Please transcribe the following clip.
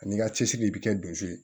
Ani i ka cɛsiri i bɛ kɛ don si ye